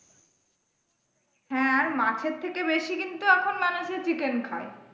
হ্যাঁ আর মাছের থেকে বেশি কিন্তু এখন মানুষে chicken খাই।